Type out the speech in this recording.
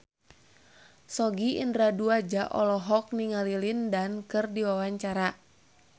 Sogi Indra Duaja olohok ningali Lin Dan keur diwawancara